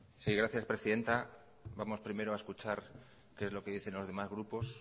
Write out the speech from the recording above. sí gracias presidenta vamos primero a escuchar qué es lo que dicen los demás grupos